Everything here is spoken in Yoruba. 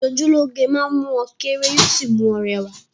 Ìṣojúlóge máa mú ọ kéré yóò sì mú ọ rẹwà